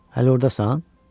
Hələ ordasan?